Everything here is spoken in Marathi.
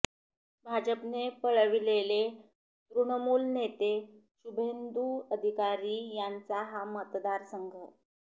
भाजपने पळविलेले तृणमूल नेते शुभेंदू अधिकारी यांचा हा मतदारसंघ